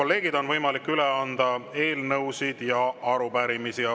Nüüd on võimalik üle anda eelnõusid ja arupärimisi.